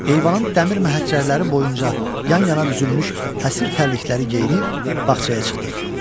Eyvanın dəmir məhəccərləri boyunca yan-yana düzülmüş həsir tərlikləri geyinib bağçaya çıxdıq.